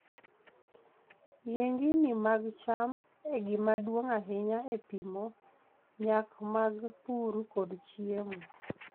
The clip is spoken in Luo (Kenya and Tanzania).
Yiengini mag cham e gima duong' ahinya e pimo nyak mag pur kod chiemo.